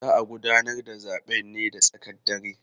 Za a gudanar da zaben ne da tsakar dare.